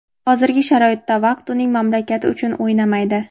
hozirgi sharoitda vaqt uning mamlakati uchun o‘ynamaydi.